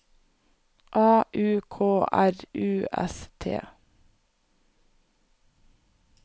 A U K R U S T